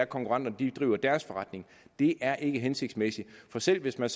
konkurrenterne driver deres forretning det er ikke hensigtsmæssigt for selv hvis man